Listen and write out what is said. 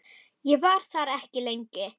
Ég var þar ekki lengi.